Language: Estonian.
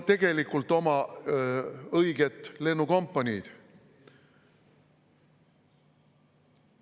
… tegelikult oma õiget lennukompaniid.